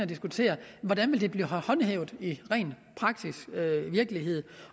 diskutere hvordan det vil blive håndhævet i den praktiske virkelighed